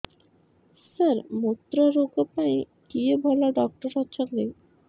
ସାର ମୁତ୍ରରୋଗ ପାଇଁ କିଏ ଭଲ ଡକ୍ଟର ଅଛନ୍ତି